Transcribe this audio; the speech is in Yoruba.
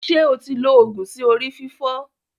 Ṣé o ti lo oògun sí orí fífọ́.